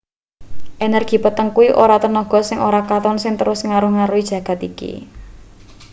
energy peteng kuwi ora tenaga sing ora katon sing terus ngaruh-aruhi jagat iki